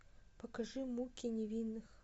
покажи муки невинных